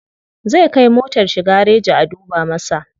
Zai kai motar shi gareji a duba masa.